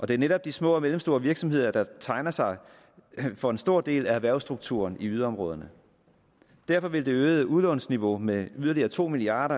det er netop de små og mellemstore virksomheder der tegner sig for en stor del af erhvervsstrukturen i yderområderne derfor vil det øgede udlånsniveau med yderligere to milliard